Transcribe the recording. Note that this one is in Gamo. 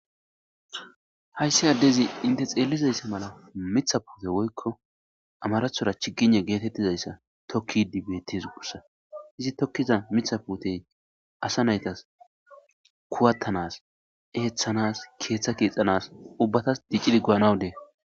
hayssi addezi inte xeellizayssa mala mitha puute woykko amarathora chiginne geetettizayssa tokki dibetis gussa izi tokkiza mitha puutey asa naytas kuwattanas eeththanas keeththa kiixanas ubbatas diccidi guanawudee